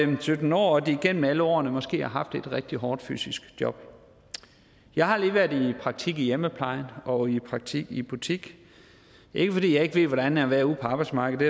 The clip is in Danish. var sytten år og de igennem alle årene måske har haft et rigtig hårdt fysisk job jeg har lige været i praktik i hjemmeplejen og i praktik i en butik ikke fordi jeg ikke ved hvordan det er at være ude på arbejdsmarkedet